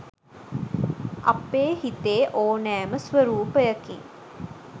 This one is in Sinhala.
අපේ හිතේ ඕනෑම ස්වරූපයකින්